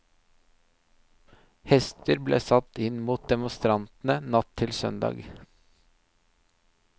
Hester ble satt inn mot demonstrantene natt til søndag.